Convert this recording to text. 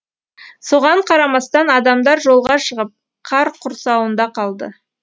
соған қарамастан адамдар жолға шығып қар құрсауында қалды